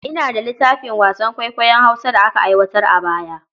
Ina da littafin wasan kwaikwayon Hausa da aka aiwatar a baya.